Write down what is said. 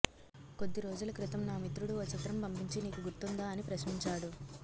కొద్ది రోజుల క్రితం నా మిత్రుడు ఓ చిత్రం పంపించి నీకు గుర్తుందా అని ప్రశ్నించాడు